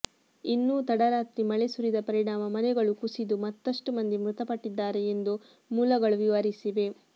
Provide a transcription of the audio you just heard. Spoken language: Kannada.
ಇನ್ನೂ ತಡರಾತ್ರಿ ಮಳೆ ಸುರಿದ ಪರಿಣಾಮ ಮನೆಗಳು ಕುಸಿದು ಮತ್ತಷ್ಟು ಮಂದಿ ಮೃತಪಟ್ಟಿದ್ದಾರೆ ಎಂದು ಮೂಲಗಳು ವಿವರಿಸಿವೆ